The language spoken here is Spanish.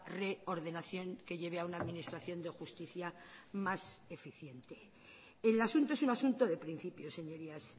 reordenación que lleve a una administración de justicia más eficiente el asunto es un asunto de principios señorías